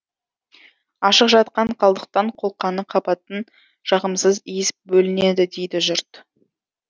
ашық жатқан қалдықтан қолқаны қабатын жағымсыз иіс бөлінеді дейді жұрт